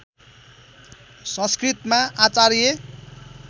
संस्कृतमा आचार्य